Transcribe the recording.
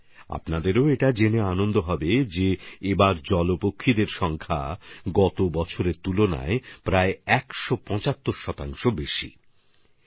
আপনারাও এটা জেনে খুশি হবেন যে এবার জলকুক্কুটের সংখ্যা গত বছরের তুলনায় একশ পঁচাত্তর শতাংশ বেশি হয়েছে